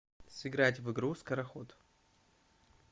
сыграть в игру скороход